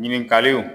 Ɲininkaliw